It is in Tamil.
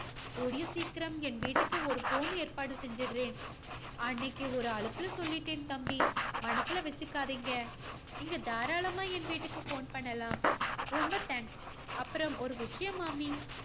கூடிய சீக்கிரம் என் வீட்டுக்கு ஒரு phone ஏற்பாடு செஞ்சுடுறேன். அன்னைக்கு ஒரு அலுப்புல சொல்லிட்டேன் தம்பி. மனசுல வெச்சுக்காதீங்க. நீங்க தாராளமா என் வீட்டுக்கு phone பண்ணலாம். ரொம்ப thanks. அப்பறம் ஒரு விஷயம் மாமி